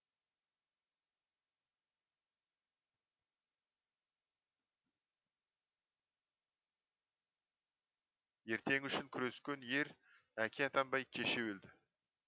ертеңі үшін күрескен ер әке атанбай кеше өлді